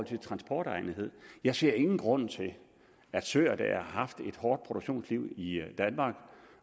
til transportegnethed jeg ser ingen grund til at søer der har haft et hårdt produktionsliv i danmark